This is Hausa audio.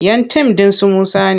Yan tim ɗin su Musa ne.